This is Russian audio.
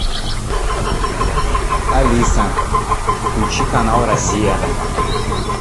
алиса включи канал россия